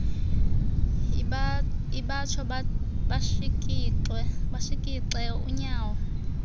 ibatsho bashikixe unyawo